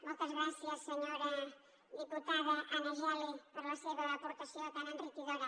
moltes gràcies senyora diputada anna geli per la seva aportació tan enriquidora